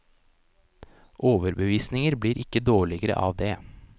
Overbevisninger blir ikke dårligere av det.